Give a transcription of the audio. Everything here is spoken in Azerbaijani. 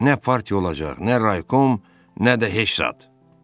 Nə partiya olacaq, nə raykom, nə də heç zat.